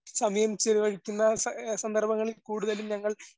സമയം ചിലവഴിക്കുന്ന അ സന്ദർഭങ്ങളിൽ കൂടുതലും ഞങ്ങൾ